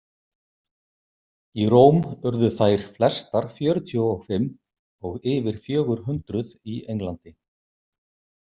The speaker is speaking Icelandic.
Í Róm urðu þær flestar fjörutíu og fimm og yfir fjögur hundruð í Englandi.